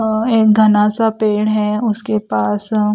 अ एक घना सा पेड़ है उसके पास--